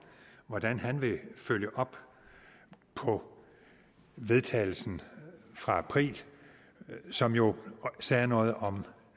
hvordan han vil følge op på vedtagelsen fra april som jo sagde noget om